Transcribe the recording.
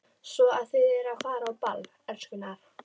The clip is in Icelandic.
Svo að þið eruð að fara á ball, elskurnar?